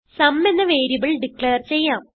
സും എന്ന variable declare ചെയ്യാം